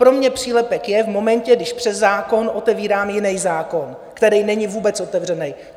Pro mě přílepek je v momentě, když přes zákon otevírám jiný zákon, který není vůbec otevřený.